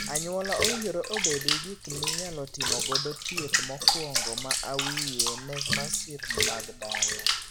Anyuola owinjore obed gi gik minyal timo godo thieth mokuongo ma awiye ne masirni mag dala.